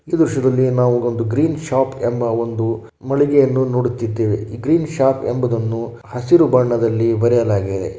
ಈ ದ್ರಶ್ಯದಲ್ಲಿ ನಾವು ಒಂದು ಗ್ರೀನ್ ಶಾಪ್ ಎಂಬ ಒಂದು ಮಳಿಗೆಯನ್ನು ನೋಡುತ್ತಿದ್ದೇವೆ. ಗ್ರೀನ್ ಶಾಪ್ ಎಂಬುದನ್ನು ಹಸಿರು ಬಣ್ಣದಲ್ಲಿ ಬರೆಯಲಾಗಿದೆ.